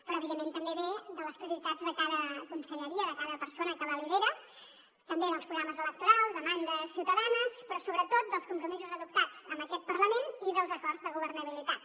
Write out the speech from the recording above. però evidentment també ve de les prioritats de cada conselleria de cada persona que la lidera també dels programes electorals demandes ciutadanes però sobretot dels compromisos adoptats en aquest parlament i dels acords de governabilitat